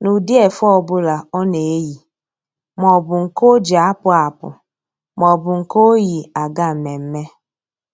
n'ụdị efe ọbụla ọ na-eyi. Maọbụ nke o ji apụ apụ maọbụ nke o yi aga mmemme